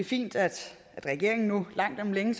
fint at regeringen nu langt om længe